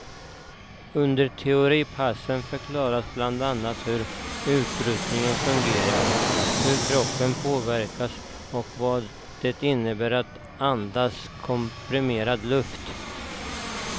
Under teoripassen förklaras bland annat hur utrustningen fungerar, hur kroppen påverkas och vad det innebär att andas komprimerad luft.